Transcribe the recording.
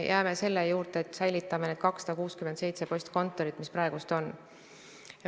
Jääme selle juurde, et säilitame need 267 postkontorit, mis praegu on.